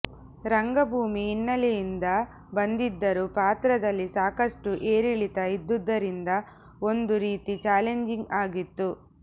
ರಂಗಭೂಮಿ ಹಿನ್ನೆಲೆಯಿಂದ ಬಂದಿದ್ದರೂ ಪಾತ್ರದಲ್ಲಿ ಸಾಕಷ್ಟು ಏರಿಳಿತ ಇದ್ದುದರಿಂದ ಒಂದು ರೀತಿ ಚಾಲೆಂಜಿಂಗ್ ಆಗಿತ್ತು